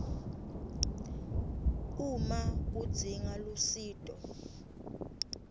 uma udzinga lusito